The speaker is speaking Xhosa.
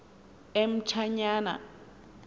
emtshanyana